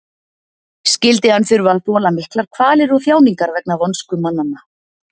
Skyldi hann þurfa að þola miklar kvalir og þjáningar vegna vonsku mannanna?